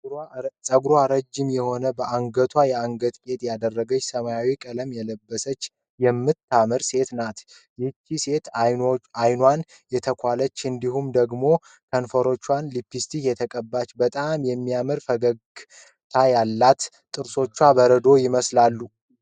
ፀጉሯ ረጅም የሆነ በአንግቷ የአንገት ጌጥ ያደረገች ሰማያዊ ቀለም የለበሰች የምታምር ሴት ናት። ይቺ ሴት አይኗን የተኳለች እንዲሁም ደግሞ ከንፈሯ ሊፕስቲክ የተቀባችና በጣም የሚያምር ፈገግታ አላት። ጥርሶቿ በረዶ ይምስላሉ።